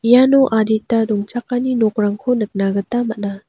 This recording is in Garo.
iano adita dongchakani nokrangko nikna gita man·a.